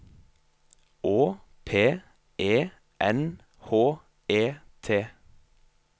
Å P E N H E T